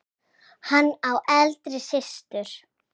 Hann á eldri systur.